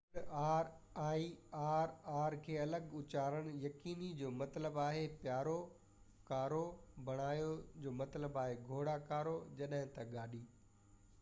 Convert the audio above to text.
پڻ، R ۽ R R کي الڳ الڳ اُچارڻ يقيني بڻايو: caro جو مطلب آهي پيارو ، جڏهن ته carro جو مطلب آهي گهوڙا گاڏي